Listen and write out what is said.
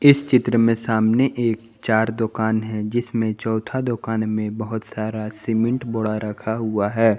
इस चित्र में सामने एक चार दुकान है जिसमें चौथ दुकान में बहुत सारा सीमेंट बड़ा रखा हुआ है।